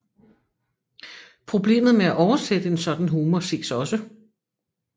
Problemet med at oversætte en sådan humor ses også